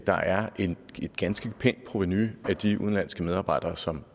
der er et ganske pænt provenu af de udenlandske medarbejdere som